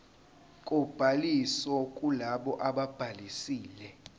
kobhaliso kulabo ababhalisile